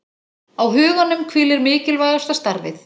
Á huganum hvílir mikilvægasta starfið